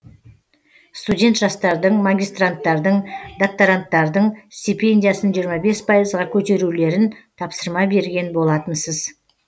студент жастардың магистранттардың докторанттардың стипендиясын жиырма бес пайызға көтерулерін тапсырма берген болатынсыз